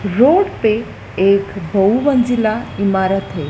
Road पे एक बहु मंजिला इमारत है।